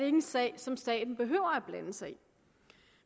en sag som staten behøver at blande sig i